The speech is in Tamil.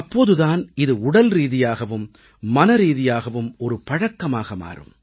அப்போது தான் இது உடல்ரீதியாகவும் மனரீதியாகவும் ஒரு பழக்கமாக மாறும்